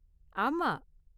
ஆமா.